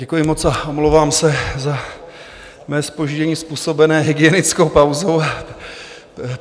Děkuji moc a omlouvám se za své zpoždění způsobené hygienickou pauzou.